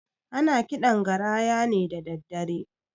Ana kiɗan garaya ne dadaddare